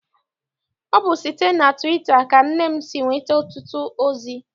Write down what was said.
Ọ bụ site na tụwita ka nne m si enweta ọtụtụ ozi.